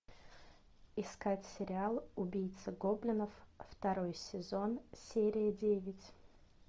искать сериал убийца гоблинов второй сезон серия девять